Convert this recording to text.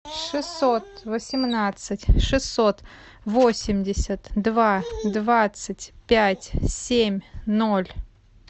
шестьсот восемнадцать шестьсот восемьдесят два двадцать пять семь ноль